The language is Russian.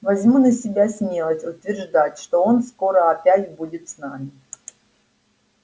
возьму на себя смелость утверждать что он скоро опять будет с нами